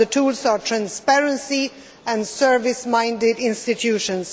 The tools are transparency and service minded institutions.